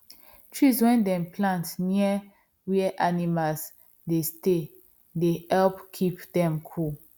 trees wen dem plant near where animal dey stay they help keep them cool